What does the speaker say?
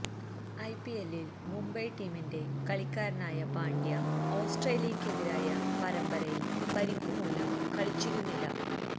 ഐപിഎല്ലില് മുംബൈ ടീമിന്റെ കളിക്കാരനായ പാണ്ഡ്യ ഓസ്ട്രേലിയയ്ക്കെതിരായ പരമ്പരയില് പരിക്കുമൂലം കളിച്ചിരുന്നില്ല